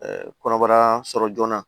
kɔnɔbara sɔrɔ joona